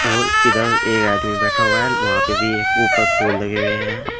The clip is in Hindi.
और इधर एक आदमी बैठा हुआ है वहां पे भी एक ऊपर फूल लगे हुए हैं।